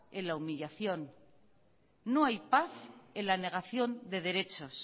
en la humillación no hay paz en la negación de derechos